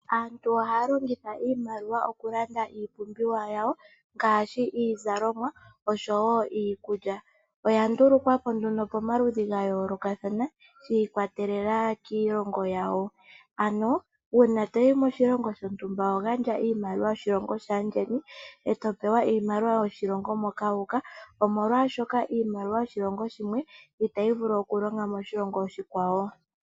Aantu ihaya longitha iimaliwa okulanda iipumbiwa yawo ngaashi iizalomwa oshowo iikulya. Oya ndulukwa po nduno komaludhi ga yoolokathana shi ikwatelela kiilongo yawo, ano uuna omuntu to yi moshilongo shintumba oho gandja iimaliwa yoshilongo shaandjeni, e to oewa iimaliwa yo moshilongo moka wa uka omolwashoka iimaliwa yoshilongo shimwe itayi vulu okulonga moshilongo oshikwawo.